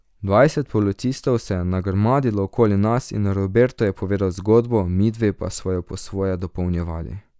Dvajset policistov se je nagrmadilo okoli nas in Roberto je povedal zgodbo, midve pa sva jo po svoje dopolnjevali.